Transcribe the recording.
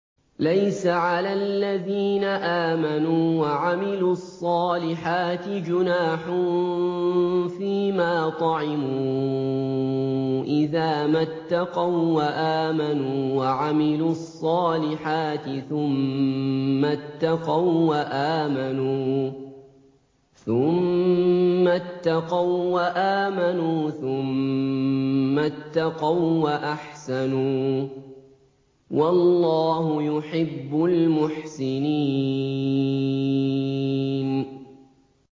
لَيْسَ عَلَى الَّذِينَ آمَنُوا وَعَمِلُوا الصَّالِحَاتِ جُنَاحٌ فِيمَا طَعِمُوا إِذَا مَا اتَّقَوا وَّآمَنُوا وَعَمِلُوا الصَّالِحَاتِ ثُمَّ اتَّقَوا وَّآمَنُوا ثُمَّ اتَّقَوا وَّأَحْسَنُوا ۗ وَاللَّهُ يُحِبُّ الْمُحْسِنِينَ